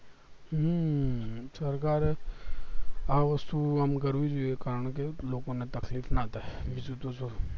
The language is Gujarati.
હમ સરકાર એ આ વસ્તુ આમ કરવી જોઈએ કારણ કે લોકો ને તકલીફ ના થાય બીજું તો શું